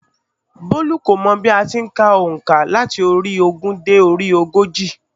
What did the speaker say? Bólú kò mọ̀ bí a ti n ka ònkà láti orí i ogún dé orí ogójì